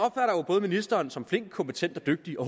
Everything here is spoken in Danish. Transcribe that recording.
ministeren som både flink kompetent og dygtig og